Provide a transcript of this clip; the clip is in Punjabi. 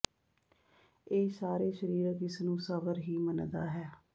ਇਹ ਸਾਰੇ ਸਰੀਰਿਕ ਇਸ ਨੂੰ ਸਵਰ ਹੀ ਮੰਨਦਾ ਹੈ